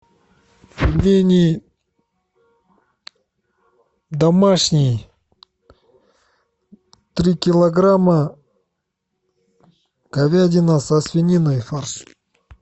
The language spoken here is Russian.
пельмени домашние три килограмма говядина со свининой фарш